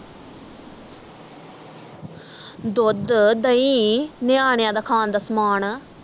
ਦੁੱਧ ਦਹੀਂ ਨਿਆਣਿਆਂ ਦਾ ਖਾਣ ਦਾ ਸਮਾਣ